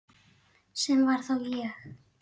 Sem var þá ég.